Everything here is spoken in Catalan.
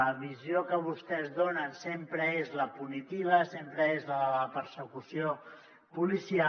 la visió que vostès donen sempre és la punitiva sempre és la de la persecució policial